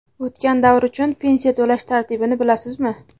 O‘tgan davr uchun pensiya to‘lash tartibini bilasizmi?.